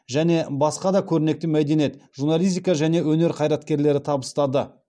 және басқа да көрнекті мәдениет журналистика және өнер қайраткерлері табыстады